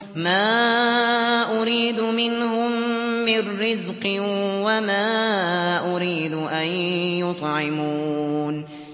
مَا أُرِيدُ مِنْهُم مِّن رِّزْقٍ وَمَا أُرِيدُ أَن يُطْعِمُونِ